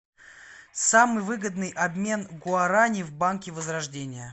самый выгодный обмен гуарани в банке возрождение